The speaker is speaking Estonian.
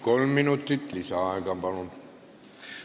Kolm minutit lisaaega, palun!